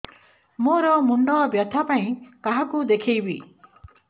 ମୋର ମୁଣ୍ଡ ବ୍ୟଥା ପାଇଁ କାହାକୁ ଦେଖେଇବି